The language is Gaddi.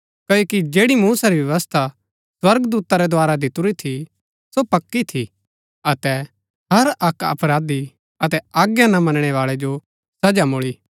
क्ओकि जैड़ी मूसा री व्यवस्था स्वर्गदूता रै द्धारा दितुरी थी सो पक्की थी अतै हर अक्क अपराधी अतै आज्ञा ना मनणै बाळै जो सजा मूळी